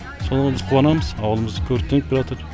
соған біз қуанамыз ауылымыз көркейіп келятыр